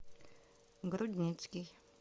грудницкий